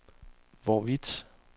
hvorvidt